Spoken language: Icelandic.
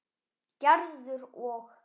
Gerður og